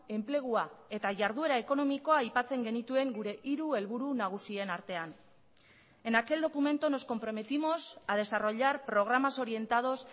enplegua eta jarduera ekonomikoa aipatzen genituen gure hiru helburu nagusien artean en aquel documento nos comprometimos a desarrollar programas orientados